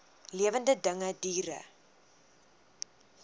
lewende dinge diere